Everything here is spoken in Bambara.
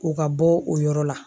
O ka bɔ o yɔrɔ la